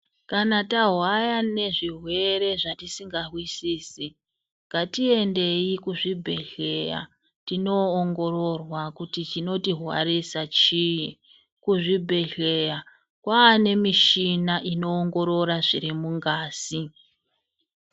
Kana tahwara nezvirwere zvatisinga zwisisi ngatiendeyi kuzvibhehleya inoongorora kuti chinotirwarisa chini kuzvibhehlera kwane muchina ino ongorora zviri mungazi.